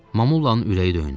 Mamullanın ürəyi döyündü.